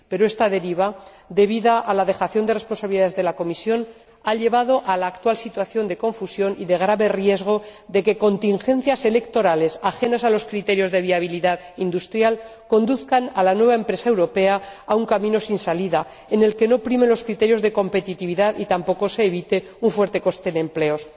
Pero esta deriva, debida a la dejación de responsabilidades de la Comisión, ha llevado a la actual situación de confusión y de grave riesgo de que contingencias electorales, ajenas a los criterios de viabilidad industrial, conduzcan a la nueva empresa europea a un camino sin salida, en el que no primen los criterios de competitividad ni tampoco se evite un fuerte coste de empleos.